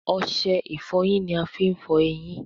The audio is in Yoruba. Ọṣẹ ìfọyín ní a fín fọ ẹyìn.